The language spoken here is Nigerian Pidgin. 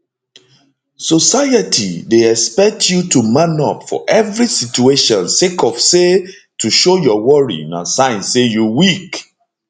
society dey expect you to man up for evri situation sake of say to show your worry na sign say you weak